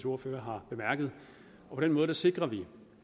ordfører har bemærket på den måde sikrer vi